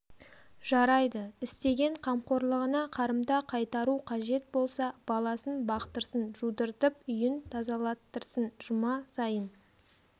жарайды істеген қамқорлығына қарымта қайтару қажет болса баласын бақтырсын жудыртып үйін тазалаттырсын жұма сайын